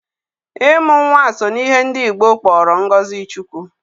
Ịmụ nwa so n'ihe ndị Igbo kpọrọ ngozi Chiukwu.